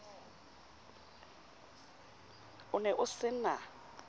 o ne o se na